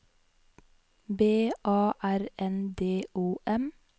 B A R N D O M